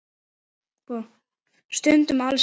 Stundum alls ekki.